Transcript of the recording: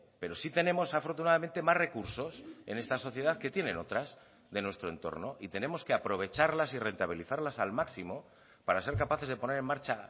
pero sí tenemos afortunadamente más recursos en esta sociedad que tienen otras de nuestro entorno y tenemos que aprovecharlas y rentabilizarlas al máximo para ser capaces de poner en marcha